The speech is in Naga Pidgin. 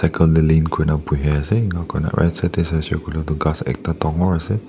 link kuri na bohi ase enka koina right side teh sai se koiley toh ghass ekta dangor ase.